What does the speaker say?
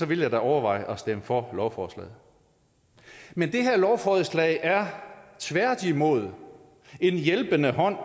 ville jeg da overveje at stemme for lovforslaget men det her lovforslag er tværtimod en hjælpende hånd